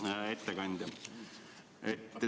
Hea ettekandja!